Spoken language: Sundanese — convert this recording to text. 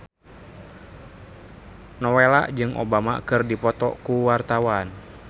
Nowela jeung Obama keur dipoto ku wartawan